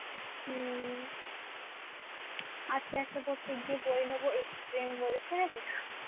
আজকে একটা পড়তে গিয়ে বই নেব ex প্রেম বলে শুনেছিস